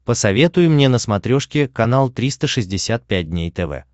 посоветуй мне на смотрешке канал триста шестьдесят пять дней тв